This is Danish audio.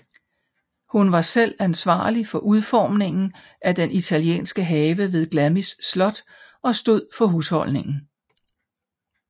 Hun var selv ansvarlig for udformningen af den italienske have ved Glamis Slot og stod for husholdningen